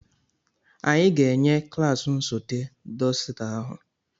Anyị ga-enye klaasị nsote dọsita ahụ.